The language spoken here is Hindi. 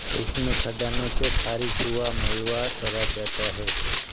इसमें खदानों से खारिज हुआ मलवा भरा जाता है